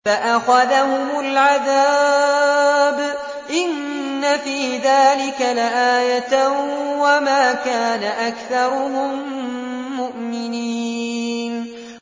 فَأَخَذَهُمُ الْعَذَابُ ۗ إِنَّ فِي ذَٰلِكَ لَآيَةً ۖ وَمَا كَانَ أَكْثَرُهُم مُّؤْمِنِينَ